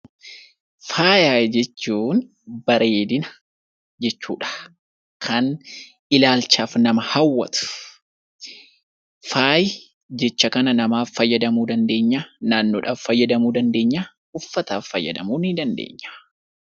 Faaya jechuun bareedina jechuudha. Kan ilaalchaaf nama hawwatu. Faayi jecha kana lamaaf fayyadamuu dandeenya ; naannoodhaaf fayyadamuu dandeenya, uffataaf fayyadamuu ni dandeenya.